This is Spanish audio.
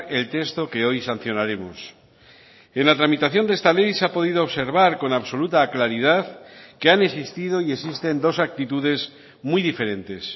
el texto que hoy sancionaremos en la tramitación de esta ley se ha podido observar con absoluta claridad que han existido y existen dos actitudes muy diferentes